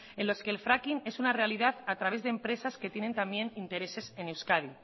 en los que el fracking es una realidad a través de empresas que tienen también intereses en euskadi